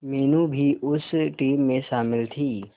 मीनू भी उस टीम में शामिल थी